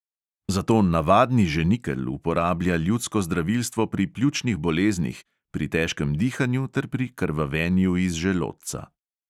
Zato navadni ženikelj uporablja ljudsko zdravilstvo pri pljučnih boleznih, pri težkem dihanju ter pri krvavenju iz želodca.